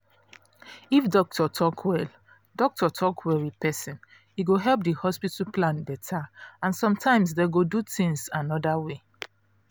if doctor talk well doctor talk well with person e go help the hospital plan better and sometimes dem go do things another way